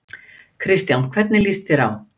Kristján: Hvernig líst þér á?